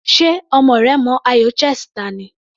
Ṣe ọmọ rẹ mọ ayò chess ta ni?